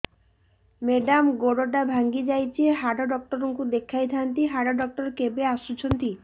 madam ଗୋଡ ଟା ଭାଙ୍ଗି ଯାଇଛି ହାଡ ଡକ୍ଟର ଙ୍କୁ ଦେଖାଇ ଥାଆନ୍ତି ହାଡ ଡକ୍ଟର କେବେ ଆସୁଛନ୍ତି